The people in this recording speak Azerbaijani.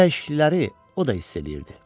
Bu dəyişiklikləri o da hiss eləyirdi.